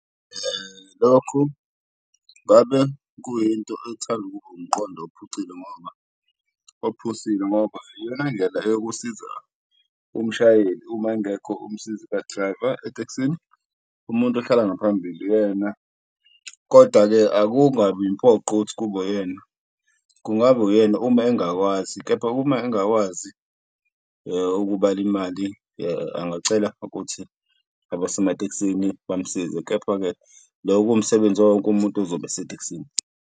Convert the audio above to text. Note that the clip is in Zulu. Lokhu ngabe kuyinto ethanda ukuba umqondo ngoba ophusile ngoba iyona ndlela eyokusiza umshayeli uma engekho umsizi ka-driver etekisini, umuntu ohlala ngaphambili uyena. Koda-ke akungabi impoqo ukuthi kube uyena, kungaba uyena uma engakwazi kepha uma engakwazi ukubala imali angacela ukuthi abasematekisini bamsize. Kepha-ke loko kuwumsebenzi wawo wonke umuntu ozobe esetekisini.